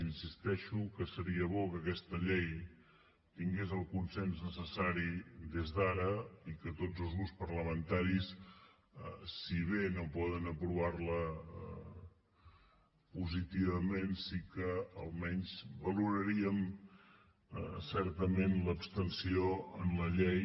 insisteixo que seria bo que aquesta llei tingués el consens necessari des d’ara i que tots els grups parlamentaris si bé no poden aprovar la positivament sí que almenys valoraríem certament l’abstenció en la llei